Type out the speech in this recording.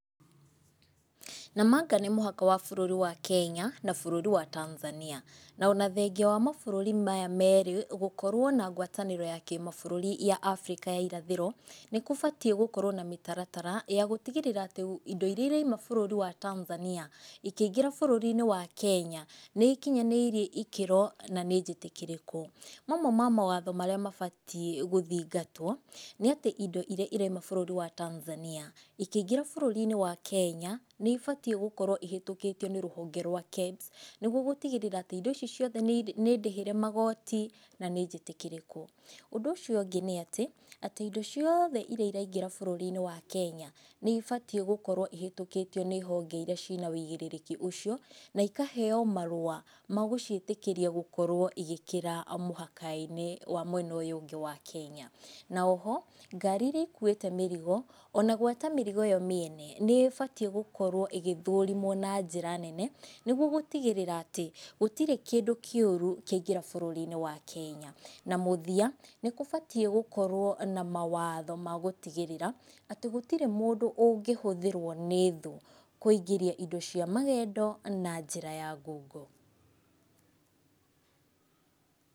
Namanga nĩ mũhaka wa bũrũri wa Kenya na bũrũri wa Tanzania. Na ona thengia wa mabũrũri maya merĩ gũkorwo na ngwatanĩro ya kĩmabũrũri ya Afrika ya irathĩro, nĩ kũbatĩĩ gũkorwo na mĩtaratara ya gũtigĩrĩra atĩ indo iria irauma bũrũri wa Tanzania, ikĩingira bũrũri-inĩ wa Kenya nĩ ikinyanĩirie ĩkĩro na nĩ njĩtĩkĩrĩku. Mamwe ma mawatho marĩa mabatiĩ gũthingatwo, nĩ atĩ indo iria irauma bũrũri wa Tanzania, ikĩingĩra bũrũri-inĩ wa Kenya, nĩ ibatiĩ gũkorwo ihetũkĩtio nĩ rũhonge rwa KEBS nĩguo gũtigĩrĩra indo icio ciothe nĩ ndĩhĩre magoti na nĩ njĩtĩkĩrĩku. Ũndũ ũcio ũngĩ nĩ atĩ, atĩ indo ciothe iria iraingĩra bũrũri wa Kenya nĩ ibatiĩ gũkorwo ihetũkĩtio nĩ honge ĩria ciĩna wũigĩrĩrĩki ũcio na ikaheywo marũa magũciĩtĩkĩriĩa gũkorwo ikĩingĩra mũhaka-inĩ wa mwena ũyũ ũngĩ wa Kenya. Na oho, ngari iria ikuwĩte mĩrigo, ona gwata mĩrigo yo miene nĩ ĩbatiĩ gũkorwo ĩgĩthũrimwo na njĩra nene nĩguo gũtigĩrĩra atĩ gũtirĩ kĩndũ kĩũru kĩaingĩra bũrũri-inĩ wa Kenya. Na mũthia nĩ gũbatiĩ gũkorwo na mawatho ma gũtigĩrĩra atĩ gũtirĩ mundũ ũngihũthĩrwo nĩ thũ kũingĩria indo cia magendo na njĩra ya ngungo.